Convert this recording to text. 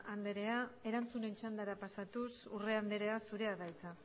andrea erantzunen txandara pasatuz urrea andrea zurea da hitza